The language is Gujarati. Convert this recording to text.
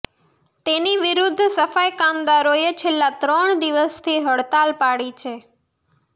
તેની વિરુદ્ધ સફાઈ કામદારોએ છેલ્લા ત્રણ દિવસથી હડતાળ પાડી છે